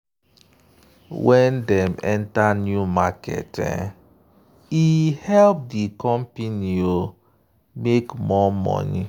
when dem enter new market e help di company make more money.